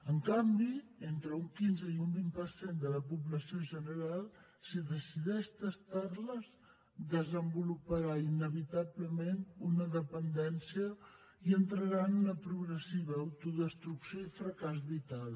en canvi entre un quinze i un vint per cent de la població general si decideix tastar les desenvoluparà inevitablement una dependència i entrarà en una progressiva autodestrucció i fracàs vital